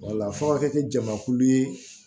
Wala fɔ a ka kɛ jamakulu ye